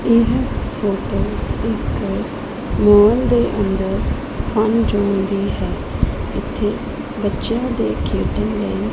ਇਹ ਫੋਟੋ ਇੱਕ ਮੌਲ ਦੇ ਅੰਦਰ ਫਨ ਜੋਨ ਦੀ ਹੈ ਇੱਥੇ ਬੱਚਿਆਂ ਦੇ ਖੇਡਣ ਲਈ --